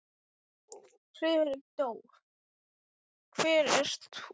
Friðrik viðurkenndi, að það hefði komið sér á óvart.